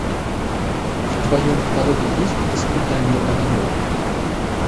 в твоем каталоге есть испытание огнем